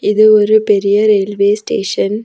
இது ஒரு பெரிய ரெயில்வே ஸ்டேஷன் .